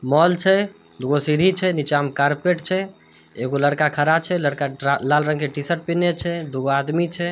Mall छै दु गो सीढ़ी छै नीचा में कारपेट छै एगो लड़का खड़ा छै लड़का लाल रंग के टी-शर्ट पिन्हले छै दु गो आदमी छै।